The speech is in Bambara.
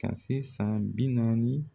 Ka se san bi naani